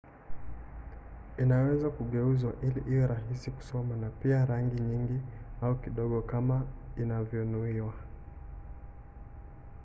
inaweza kugeuzwa ili iwe rahisi kusoma na pia na rangi nyingi au kidogo kama inavyonuiwa